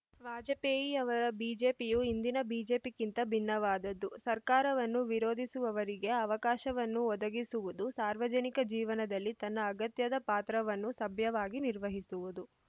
ವಾಜಪೇಯಿಯವರ ಬಿಜೆಪಿಯು ಇಂದಿನ ಬಿಜೆಪಿಗಿಂತ ಭಿನ್ನವಾದದ್ದು ಸರ್ಕಾರವನ್ನು ವಿರೋಧಿಸುವವರಿಗೆ ಅವಕಾಶವನ್ನು ಒದಗಿಸುವುದು ಸಾರ್ವಜನಿಕ ಜೀವನದಲ್ಲಿ ತನ್ನ ಅಗತ್ಯದ ಪಾತ್ರವನ್ನು ಸಭ್ಯವಾಗಿ ನಿರ್ವಹಿಸುವುದು